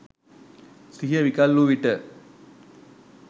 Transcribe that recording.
සිහිය විකල් වූ විට